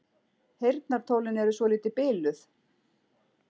Heyrnartólin eru svolítið biluð.